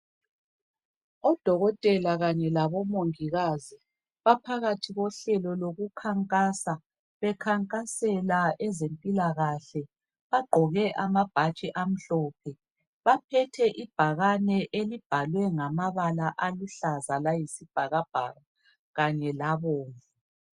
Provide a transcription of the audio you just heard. Odokotela kanye labomongikazi, baphakathi kohlelo lokukhankasa. Bekhankasela ezempilakahle, bagqoke amabhatshi amhlophe. Baphethe ibhakane elibhalwe ngamabala aluhlaza layisibhakabhaka kanye labomvu.